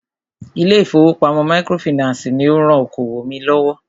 Ilé ìfọwọ́pamo microfinancii ní o rán okoòwò mí lọ́wọ́.